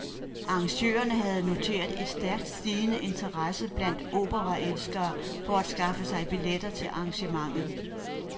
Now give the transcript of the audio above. Arrangørerne har noteret en stærkt stigende interesse blandt operaelskere for at skaffe sig billetter til arrangementet.